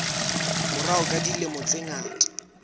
morao ka dilemo tse ngata